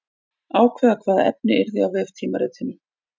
Ákveða hvaða efni yrði á veftímaritinu.